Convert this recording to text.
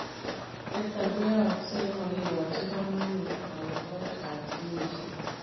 Nitok koyaaksei yemakikachii kamanuut kautaet ap ginisiek.